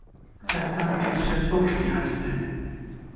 Þetta getur sett fólk í hættu